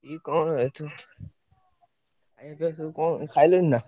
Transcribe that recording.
କଣ ଖାଇଲଣି ନା?